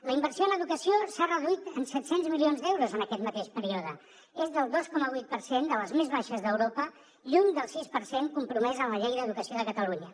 la inversió en educació s’ha reduït en set cents milions d’euros en aquest mateix període és del dos coma vuit per cent de les més baixes d’europa lluny del sis per cent compromès en la llei d’educació de catalunya